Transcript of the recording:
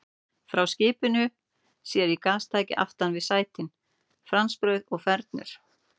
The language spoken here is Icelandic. Frá skipinu sér í gastæki aftan við sætin, franskbrauð og fernur.